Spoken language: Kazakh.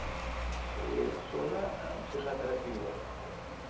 и соны ы психотерапия бар бізде мхм